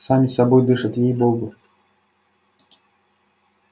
сами собой дышат ей богу